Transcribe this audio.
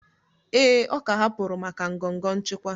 Ee, ọ ka hapụrụ maka ngọngọ nchịkwa